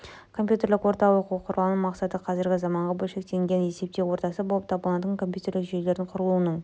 компьютерлік орта оқу құралының мақсаты қазіргі заманғы бөлшектенген есептеу ортасы болып табылатын компьютерлік жүйелердің құрылуының